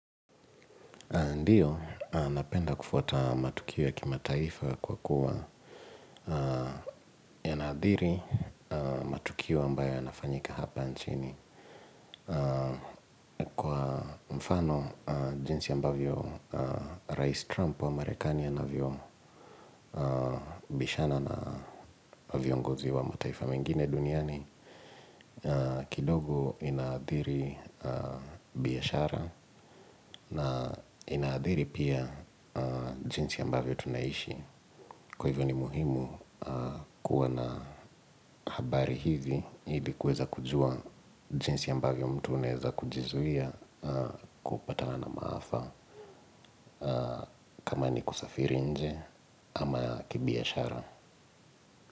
Ndiyo, napenda kufuata matukio ya kimataifa kwa kuwa yanaadhiri matukio ambayo yanafanyika hapa nchini. Kwa mfano, jinsi ambavyo Rais Trump wa marekani ana vyo bishana na viongozi wa mataifa mengine duniani, kidogo inaadhiri biashara na inaadhiri pia jinsi ambavyo tunaishi. Kwa hivyo ni muhimu kuwa na habari hizi ili kuweza kujua jinsi ambavyo mtu unaeza kujizuia kupatana na maafa. Kama ni kusafiri nje ama kibiashara.